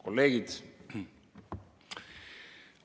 Kolleegid!